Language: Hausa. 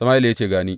Sama’ila ya ce, Ga ni.